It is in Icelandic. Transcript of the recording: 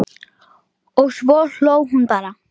Og svo hló hún bara.